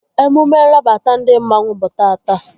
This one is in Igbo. Emume nrabata ndị mmanwu bụ tata